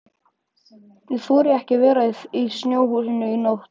Ég þori ekki að vera í snjóhúsinu í nótt.